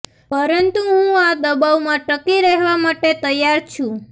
પરંતુ હું આ દબાવમાં ટકી રહેવા માટે તૈયાર છું